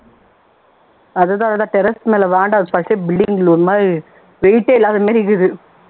அதுதான் terrace மேல பச்சை building ல ஒரு மாதிரி weight ஏ இல்லாத மாதிரி இருக்குது